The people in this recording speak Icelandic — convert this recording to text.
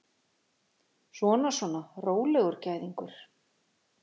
Svona, svona, rólegur gæðingur!